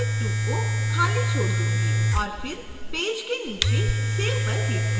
और फिर पेज के नीचे save पर क्लिक करें